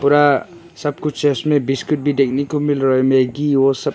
पूरा सब कुछ इसमें बिस्किट भी देखने को मिल रहा है मैगी और सब--